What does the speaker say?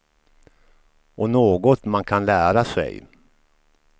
Och något man kan lära sig.